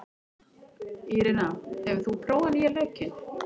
Írena, hefur þú prófað nýja leikinn?